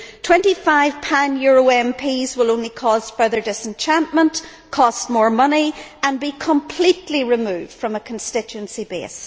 Twenty five pan Euro MPs will only cause further disenchantment, cost more money and become completely removed from a constituency base.